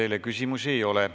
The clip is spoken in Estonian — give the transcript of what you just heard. Teile küsimusi ei ole.